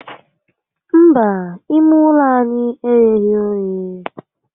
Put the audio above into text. Mba, ime ulo anyi egheghi oghe